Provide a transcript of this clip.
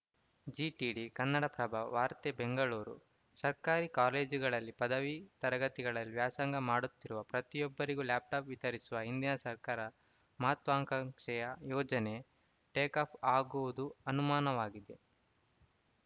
ಜಿಟಿಡಿ ಕನ್ನಡಪ್ರಭ ವಾರ್ತೆ ಬೆಂಗಳೂರು ಸರ್ಕಾರಿ ಕಾಲೇಜುಗಳಲ್ಲಿ ಪದವಿ ತರಗತಿಗಳಲ್ಲಿ ವ್ಯಾಸಂಗ ಮಾಡುತ್ತಿರುವ ಪ್ರತಿಯೊಬ್ಬರಿಗೂ ಲ್ಯಾಪ್‌ಟಾಪ್‌ ವಿತರಿಸುವ ಹಿಂದಿನ ಸರ್ಕಾರ ಮಹತ್ವಾಕಾಂಕ್ಷೆಯ ಯೋಜನೆ ಟೇಕಾಫ್‌ ಆಗುವುದು ಅನುಮಾನವಾಗಿದೆ